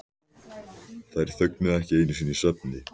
Þær þögnuðu ekki einu sinni í svefni.